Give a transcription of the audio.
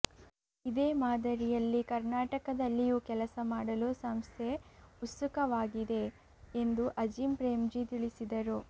ಇದೇ ಮಾದರಿಯಲ್ಲಿ ಕರ್ನಾಟಕದಲ್ಲಿಯೂ ಕೆಲಸ ಮಾಡಲು ಸಂಸ್ಥೆ ಉತ್ಸುಕವಾಗಿದೆ ಎಂದು ಅಜಿಂ ಪ್ರೇಮ್ಜೀ ತಿಳಿಸಿದರು